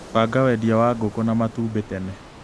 Banga wendia wa ngũkũ na matumbĩ tene.